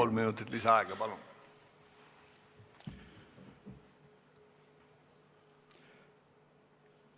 Kolm minutit lisaaega, palun!